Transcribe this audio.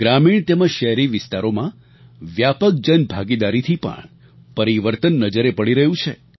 ગ્રામીણ તેમજ શહેરી વિસ્તારોમાં વ્યાપક જનભાગીદારીથી પણ પરિવર્તન નજરે પડી રહ્યું છે